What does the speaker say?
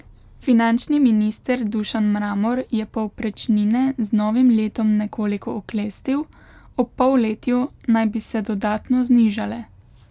Finančni minister Dušan Mramor je povprečnine z novim letom nekoliko oklestil, ob polletju naj bi se dodatno znižale.